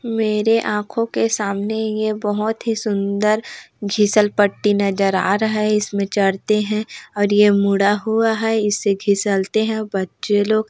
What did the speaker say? मेरे आँखों के सामने ये बोहोत ही सुन्दर घिसलपट्टी नज़र आ रहा है इसमें चढ़ते हैं और ये मुड़ा हुआ है इससे घिसलते हैं बच्चे लोग।